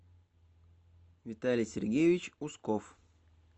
виталий сергеевич усков